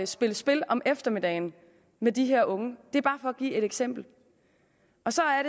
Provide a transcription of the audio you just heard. spille spil om eftermiddagen med de her unge det er bare for at give et eksempel